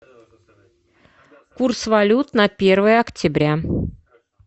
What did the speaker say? курс валют на первое октября